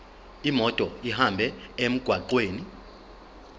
imoto ihambe emgwaqweni